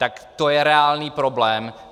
Tak to je reálný problém.